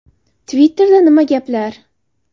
Twitter’da nima gaplar?